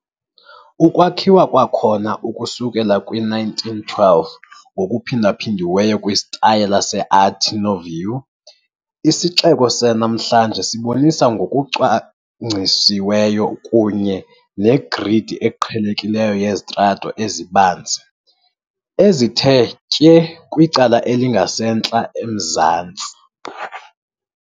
Ukwakhiwa kwakhona ukusuka kwi -1912, ngokuphindaphindiweyo kwisitayela se-Art Nouveau, isixeko sanamhlanje sibonisa ngokucwangcisiweyo kunye negridi eqhelekileyo yezitrato ezibanzi, ezithe tye kwicala elingasentla-emazantsi.